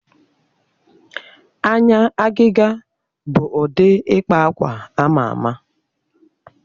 Anya agịga bụ ụdị ịkpa akwa ama ama.